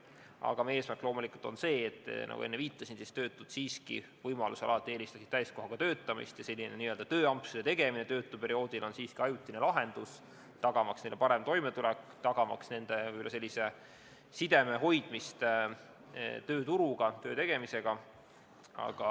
Aga meie eesmärk loomulikult on see, nagu ma enne viitasin, et töötud siiski võimalusel alati eelistasid täiskohaga töötamist, ja selline tööampsude tegemine töötuperioodil on siiski ajutine lahendus, tagamaks neile parem toimetulek, tagamaks neile side tööturuga, töö tegemisega.